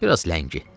Bir az ləngi.